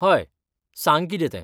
हय, सांग कितें तें?